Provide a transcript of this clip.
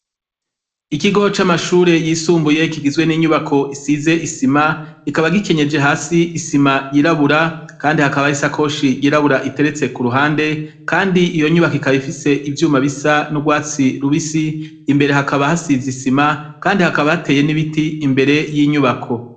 Ikigo c'amashure yisumbuye gifise inyubako igizwe n'isima, kikaba gikenyeje hasi isima yirabura, kandi hakaba har'isakoshi yirabura iteretse k'uruhande, kandi iyo nyubako ikaba ifise ibara risa n'urwatsi rubisi, imbere hakaba hasize isima, kandi hakaba hatey'ibiti ibiti imbere y'iyo nyubako.